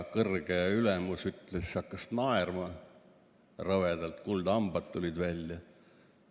Kõrge ülemus hakkas naerma, rõvedad kuldhambad tulid välja.